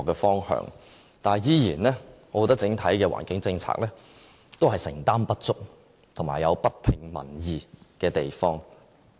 但是，我仍然覺得整體的環境政策承擔不足，而且有不聽民意的地方。